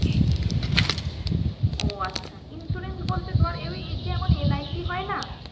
ও আচ্ছা insurance বলতে ধর ওই যেমন LIC হয় না